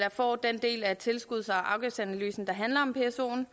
får den del af tilskuds og afgiftsanalysen der handler om psoen